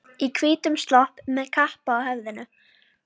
Í hvítum slopp og með kappa á höfðinu.